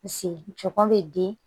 Sen tɔgɔ bɛ di